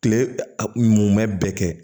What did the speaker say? Kile a ɲuman bɛɛ kɛ